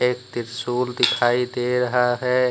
एक त्रिशूल दिखाई दे रहा है।